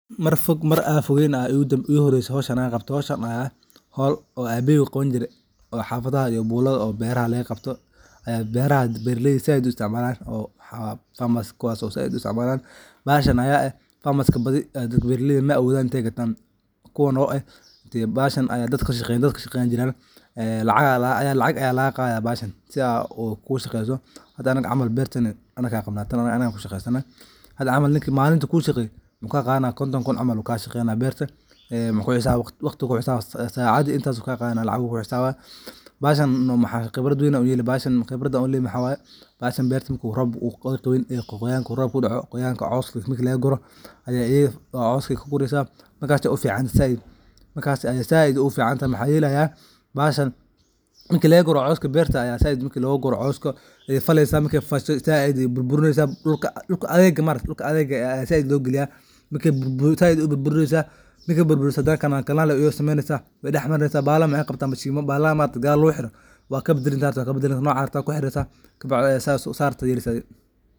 Mar fog mar an fogeyn baa igu horese howshan an qabto. Howshan ayaa ah hown abahey u qawani jire oo ah howl xafadaha, beraha laga qabto oo beraha ,beraleyda zaid u qabtan farmers kuwaso zaid u isticmalan. Bahashan aya eh farmers baadhi maawodan iney gatan ,kuwan oo eh. Bahashan ayaa dad kashaqeyan ,lacag aya lagaqadaya si aad u isticmasho hada anaga berteni anaga qabna ,hada camal ninki malin kushaqeyo konton kun camal bu ka qadaya ,waqti bu kuhisabaya sacadi intas bu kuhisabaya, bahashan qibradan u leyahay waxa waye marku robka daco waxad kuguresa cawska oo qoqoyanka jiro ,maxa yelaya bahashan marka logu guro cawska ayey faleysa ayey burburinesa ,dhulka adega ah maaragte ayaa zaid logaliya ,markey burburiso canal canal ayey u sumenesa hadana bahala waxey qabta mashimo bahalaha maaragte gadal lagu hiro hadad rabto waa kabadalani rabta oo noca rabto kuhiresa kabacdi saa rabta ayaa yelesa adhi.